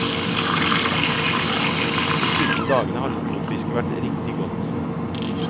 De siste dagene har lofotfisket vært riktig godt.